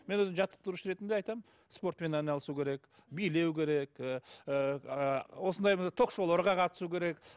мен өзім жаттықтырушы ретінде айтамын спортпен айналысу керек билеу керек ыыы осындай бір ток шоуларға қатысу керек